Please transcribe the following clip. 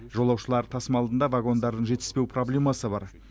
жолаушылар тасымалында вагондардың жетіспеу проблемасы бар